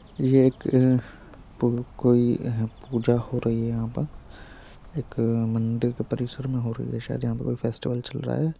ये एक अ पू कोई अ पूजा हो रही है| यहाँ पर एक मंदिर के परिसर में हो रही शायद यहाँ पर कोई फेस्टिवल चल रहा है।